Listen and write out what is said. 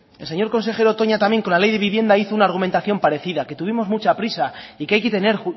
el señor consejero toña también con la ley de vivienda hizo una argumentación parecida que tuvimos mucha prisa y que hay que tener